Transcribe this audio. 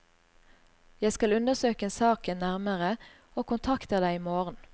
Jeg skal undersøke saken nærmere, og kontakter deg i morgen.